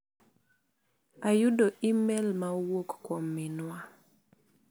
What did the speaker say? Ayudo imel ma owuok kuiom min wa.